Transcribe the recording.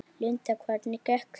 Linda: Hvernig gekk þér?